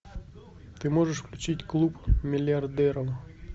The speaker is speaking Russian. ты можешь включить клуб миллиардеров